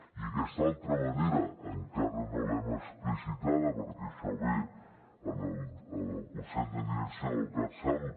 i aquesta altra manera encara no l’hem explicitada perquè això ve al consell de direcció del catsalut